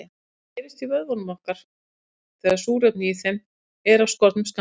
Hún gerist í vöðvum okkar þegar súrefni í þeim er af skornum skammti.